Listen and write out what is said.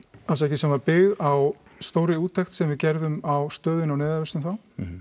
sem var byggð á stórri úttekt sem við gerðum á stöðunni á neyðarvistun þá